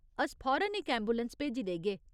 अस फौरन इक ऐंबुलैंस भेजी देगे।